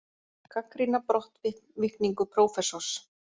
Gagnrýna brottvikningu prófessors